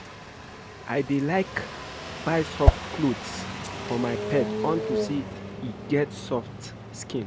I dey like buy soft clothes for my pet unto say e get soft skin